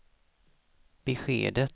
beskedet